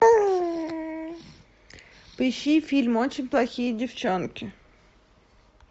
поищи фильм очень плохие девчонки